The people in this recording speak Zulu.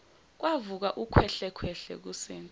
kwavuka ukhwehlekhwehle kusindi